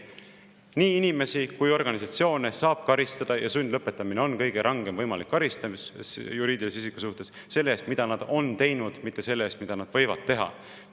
Nii inimesi kui organisatsioone saab karistada ja sundlõpetamine on kõige rangem võimalik karistus juriidilisele isikule selle eest, mida nad on teinud, mitte selle eest, mida nad võivad teha.